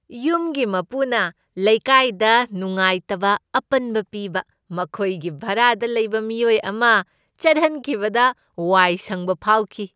ꯌꯨꯝꯒꯤ ꯃꯄꯨꯅ ꯂꯩꯀꯥꯏꯗ ꯅꯨꯡꯉꯥꯇꯕ ꯑꯄꯟꯕ ꯄꯤꯕ ꯃꯈꯣꯏꯒꯤ ꯚꯔꯥꯗ ꯂꯩꯕ ꯃꯤꯑꯣꯏ ꯑꯃ ꯆꯠꯍꯟꯈꯤꯕꯗ ꯋꯥꯏ ꯁꯪꯕ ꯐꯥꯎꯈꯤ ꯫